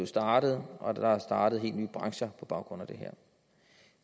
startet og der er startet helt nye brancher på baggrund af det her